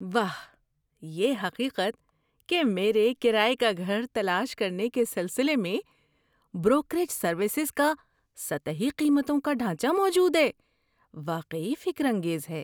واہ، یہ حقیقت کہ میرے کرایے کا گھر تلاش کرنے کے سلسلے میں بروکریج سروسز کا سطحی قیمتوں کا ڈھانچہ موجود ہے، واقعی فکرانگیز ہے۔